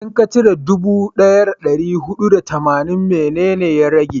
da ka cire dubu daya da dari hudu da tamanin, mene ne ya rage?